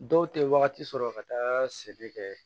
Dɔw tɛ wagati sɔrɔ ka taa se kɛ